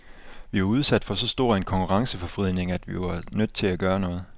Vi var udsat for så stor en konkurrenceforvridning, at vi var nødt til at gøre noget.